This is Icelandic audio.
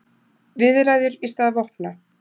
Viðræður í stað vopna